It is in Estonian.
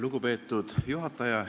Lugupeetud juhataja!